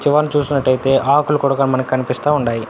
చివరికి చూసినట్టైతే ఆకులు కూడా మనకి కనిపిస్తా ఉండాయి.